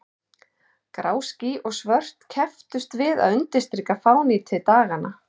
Grá ský og svört kepptust við að undirstrika fánýti daganna.